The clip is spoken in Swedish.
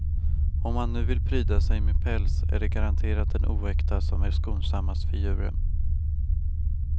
Om man nu vill pryda sig med päls är det garanterat den oäkta som är skonsammast för djuren.